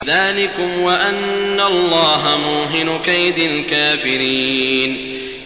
ذَٰلِكُمْ وَأَنَّ اللَّهَ مُوهِنُ كَيْدِ الْكَافِرِينَ